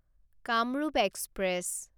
Kamrup express